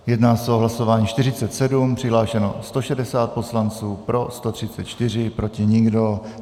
Jedná se o hlasování 47, přihlášeno 160 poslanců, pro 134, proti nikdo.